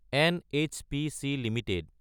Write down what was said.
NHPC Ltd